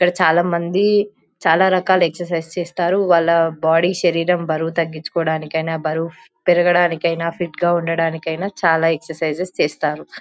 ఇక్కడ చాలా మంది చాలా రకాల ఎక్సరసైజ్ చేస్తారు వాళ్ళ బాడీ శరీరం బరువు తగ్గించుకోడానికైనా బరువు పెరగడానికైనా ఫిట్ గా ఉండానికైనా చాలా ఎక్సరసైజస్ చేస్తారు .]